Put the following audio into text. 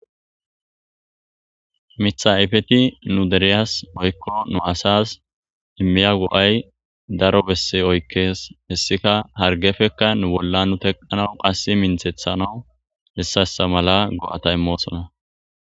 mitha ayfeti nu deriyas woykko nu asas immiya go7ay daro besse oykkees hessika hargefekka nu bolla nu teqqanawu qass minthethana heysa heysa mala go7ata immoosona